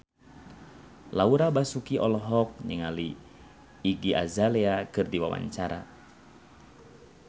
Laura Basuki olohok ningali Iggy Azalea keur diwawancara